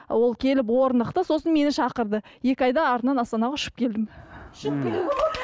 ол келіп орнықты сосын мені шақырды екі айда артынан астанаға ұшып келдім